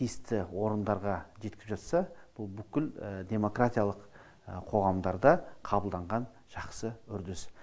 тиісті орындарға жеткізіп жатса бұл бүкіл демократиялық қоғамдарда қабылданған жақсы үрдіс